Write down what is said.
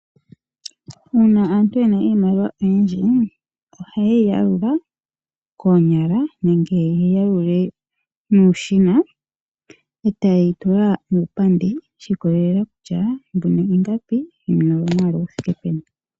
Uuna aantu yena iimaliwa oyindji ohaye yi yalula noonyala nenge yeyi ya lule nuushina etaye yi tula muupandi shi ikolelela kutya mbino ingapi, mbino oyo mwaalu gu thike peni.